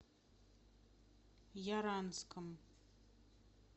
яранском